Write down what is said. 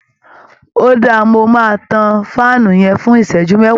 Óda, mo máa tàn fáànù yẹn fún iṣẹju méwàá.